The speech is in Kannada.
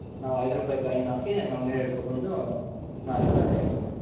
ನಾವ್ ಐದ್ ರೂಪಾಯಿ coin ಹಾಕಿ ನಾವ್ ನೀರ್ ಹಿಡ್ಕೊಂಡ್ ಬಂದು ನಾವೆಲ್ಲಾ use ಮಾಡೋದು.